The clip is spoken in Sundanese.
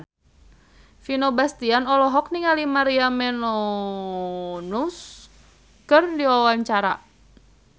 Vino Bastian olohok ningali Maria Menounos keur diwawancara